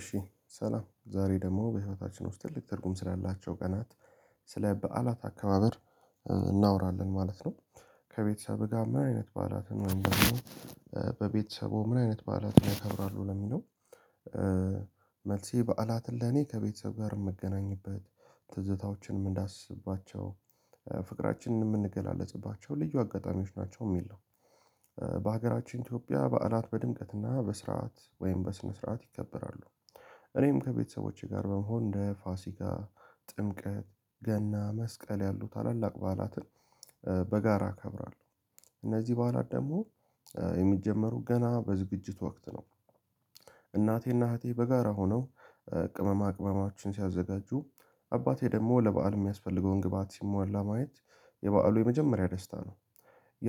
እሺ ሰላም ዛሬ ደግሞ በህይወታችን ውስጥ ትልቅ ትርጉም ስላላቸው ቀናት ስለ በዓላት አከባበር እናውራለን ማለት ነው። ከቤተሰብ ጋር ምን አይነት በዓላትን ምን በቤተሰቡ ምን አይነት በዓላትን ያከብራሉ ለሚለው? መልሴ በዓላትን ለኔ ከቤተሰብ ጋር እኔ የምገናኝበት ትዝታዎችን እንዳስባቸው ፍቅራችንን የምንገላለጽባቸው ልዩ አጋጣሚዎች ናቸው የሚል ነው። በሀገራችን ኢትዮጵያ በዓላት በድምቀትና በስርዓት ወይም በስነ ስርዓት ይከበራሉ። እኔም ከቤተሰቦቼ ጋር በመሆን እንደ ፋሲካ ጥምቀት ገና መስቀል ያሉ ታላላቅ በዓላትን በጋራ እከብራለሁ። እነዚህ በዓላት ደግሞ የሚጀመሩ ገና በዝግጅት ወቅት ነው። እናቴና እህቴ በጋራ ሆነው ቅመማቅመሞቸን ሲያዘጋጁ አባቴ ደግሞ ለበአል የሚያስፈልገውን ግብአት ሲሟላ ማየት የበአሉ የመጀመሪያ ደስታ ነው።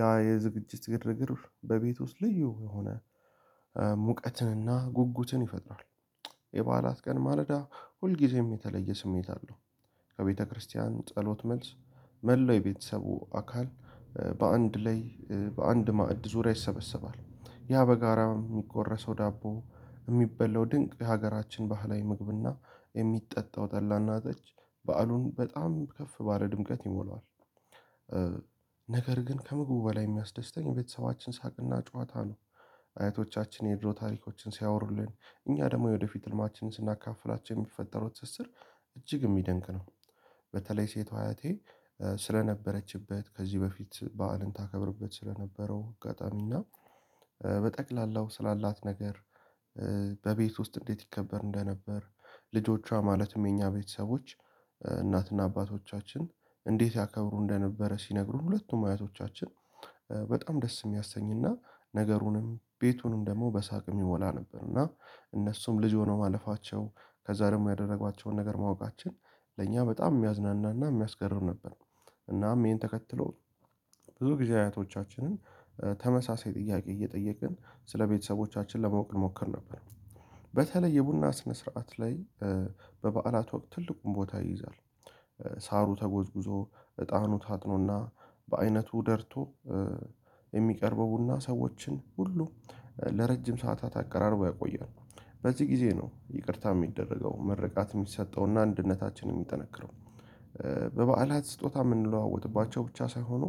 ያ የዝግጅት ግርግር በቤት ውስጥ ልዩ የሆነ ሙቀትንና ጉጉትን ይፈጥራል። የበዓላት ቀን ማለዳ ሁልጊዜም የተለየ ስሜት አለው። ከቤተክርስቲያን ጸሎት መልስ መላው የቤተሰቡ አካል በአንድ ላይ በአንድ ማዕድ ዙሪያ ይሰበሰባል ያ በጋራ የሚቆረሰው ዳቦ የሚበላው ድንቅ የሀገራችን ባህላዊ ምግብና የሚጠጣው ጠላና ጠጅ በዓሉን በጣም ከፍ ባለ ድምቀት ይሞለዋል። ነገር ግን ከምግቡ በላይ የሚያስደስተኝ ቤተሰባችን ሳቅና ጨዋታ ነው። አያቶቻችን የድሮ ታሪኮችን ሲያወሩልን እኛ ደግሞ የወደፊት ህልማችንን ስናካፍላቸው የሚፈጠረው ትስስር እጅግ የሚያደንቅ ነው። በተለይ ሴቷ አያቴ ስለነበረችበት ከዚህ በፊት በዓልን ታከብርበት ስለነበረው አጋጣሚና በጠቅላላው ስላላት ነገር በቤት ውስጥ እንዴት ይከበር እንደነበር ልጆቿ ማለትም የኛ ቤተሰቦች እናትና አባቶቻችን እንዴት ያከብሩ እንደነበረ ሲነግሩን ሁለቱም አያቶቻችን በጣም ደስ የሚያሰኝና ነገሩንም ቤቱንም ደግሞ በሳቅ የሚሞላ ነበር እና እነሱም ልጅ ሆነው ማለፋቸው ከዛ ደግሞ ያደረጓቸውን ነገር ማወቃችን ለእኛ በጣም የሚያዝናናና የሚያስገርም ነበር። እናም ይሄን ተከትሎ ብዙ ጊዜ አያቶቻችንን ተመሳሳይ ጥያቄ እየጠየቅን ስለቤተሰቦቻችን ለማወቅ እንሞክር ነበር። በተለይ የቡና ስነ ስርዓት ላይ በበዓላት ወቅት ትልቁን ቦታ ይይዛል። ሳሩ ተጎዝጉዞ እጣኑ ታጥኖና በአይነቱ ደርቶ የሚቀርበው ቡና ሰዎችን ሁሉ ለረጅም ሰዓታት አቀራርቦ ያቆያል በዚህ ጊዜ ነው ይቅርታ የሚደረገው ምርቃት የሚሰጠውና አንድነታችን የሚጠነክረው። በበዓላት ስጦታ የምንለዋወጥባቸው ብቻ ሳይሆኑ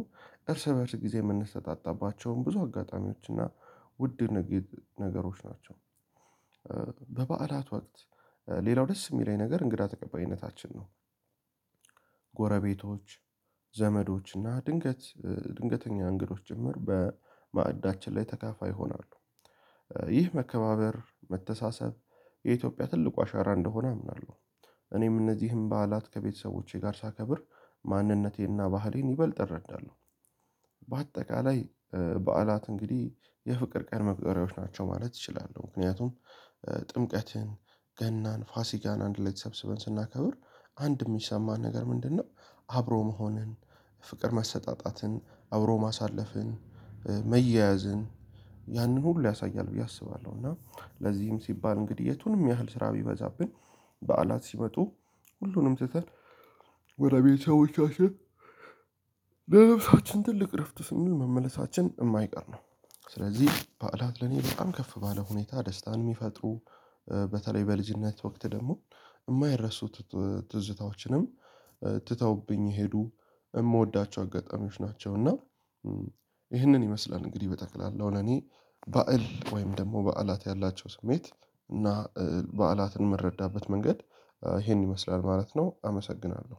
እርስ በእርስ ጊዜ የምንሰጣጣባቸውን ብዙ አጋጣሚዎች እና ውድ ነገሮች ናቸው። በበዓላት ወቅት ሌላው ደስ የሚለኝ ነገር እንግዳ ተቀባይነታችን ነው። ጎረቤቶች ዘመዶች እና ድንገት ድንገተኛ እንግዶች ጅምር በማዕዳችን ላይ ተካፋይ ይሆናሉ። ይህ መከባበር መተሳሰብ የኢትዮጵያ ትልቁ አሻራ እንደሆነ አምናለሁ። እኔም እነዚህን በዓላት ከቤተሰቦቼ ጋር ሳከብር ማንነቴና ባህሌን ይበልጥ እረዳለሁ። በአጠቃላይ በዓላት እንግዲህ የፍቅር ቀን መቁጠሪያዎች ናቸው ማለት እችላሉ ምክንያቱም ጥምቀትን ገናን ፋሲጋን አንድ ላይ ተሰብስበን ስናከብር አንድ የሚሰማን ነገር ምንድነው? አብሮ መሆንን ፍቅር መሰጣጠትን አብሮ ማሳለፍን መያያዝን ያንን ሁሉ ያሳያል ብዬ አስባለሁ እና ለዚህም ሲባል እንግዲህ የቱንም ያህል ስራ ቢበዛብን በዓላት ሲመጡ ሁሉንም ትተን ወደ ቤተሰቦቻችን በልባችን ትልቅ እረፍት ስንል መመለሳችን የማይቀር ነው። ስለዚህ በዓላት ለኔ በጣም ከፍ ባለ ሁኔታ ደስታን የሚፈጥሩ በተለይ በልጅነት ወቅት ደግሞ የማይረሱት ትዝታዎችንም ትተውብኝ ሄዱ የምወዳቸው አጋጣሚዎች ናቸው። እና ይህንን ይመስላል እንግዲህ በጠቅላላ ለእኔ በዓል ወይም ደግሞ በዓላት ያላቸው ስሜት እና በዓላትን የምንረዳበት መንገድ ይሄን ይመስላል ማለት ነው። አመሰግናለሁ